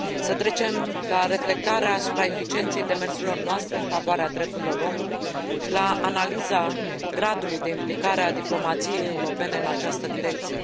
Să trecem la reflectarea asupra eficienței demersurilor noastre în favoarea drepturilor omului și la analiza gradului de implicare a diplomației europene în această direcție.